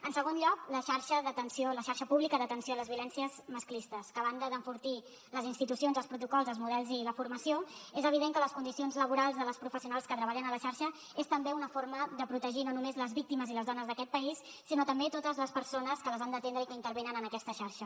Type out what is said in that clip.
en segon lloc la xarxa pública d’atenció a les violències masclistes que a banda d’enfortir les institucions els protocols els models i la formació és evident que les condicions laborals de les professionals que treballen a la xarxa és també una forma de protegir no només les víctimes i les dones d’aquest país sinó també totes les persones que les han d’atendre i que intervenen en aquesta xarxa